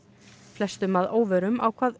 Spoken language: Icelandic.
flestum að óvörum ákvað